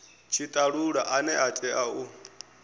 tshitalula ane a tea u